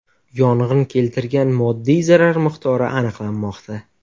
Yong‘in keltirgan moddiy zarar miqdori aniqlanmoqda.